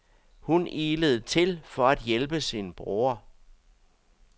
Hun ilede til for at hjælpe sin bror.